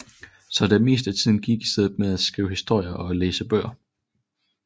Så det meste af tiden gik i stedet med at skrive historier og læse bøger